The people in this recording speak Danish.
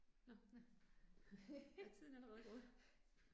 Nåh. Er tiden allerede gået?